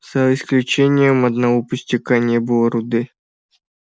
за исключением одного пустяка не было руды